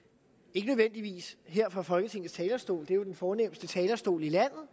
ikke nødvendigvis her fra folketingets talerstol det er jo den fornemste talerstol i landet